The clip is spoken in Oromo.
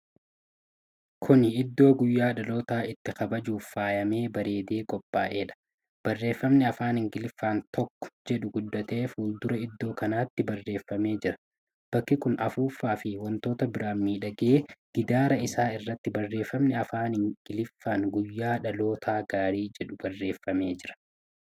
Kuni Iddoo guyyaa dhalootaa itti kabajuuf faayamee bareedee qophaa'eedha. Barreeffamni afaan Ingiliffaan tokko jedhu guddatee fuuldura iddoo kanaatti bareefamee jira. Bakki kun afuuffaa fi wantoota biraan miidhagee, gidaara isaa irratti barreefami afaan Ingiliffaan "Guyyaa dhaloota gaarii " jedhu barreefamee jira.